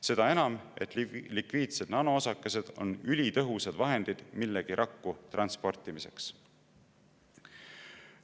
Seda enam, et lipiidsed nanoosakesed on ülitõhusad vahendid millegi rakku transportimiseks.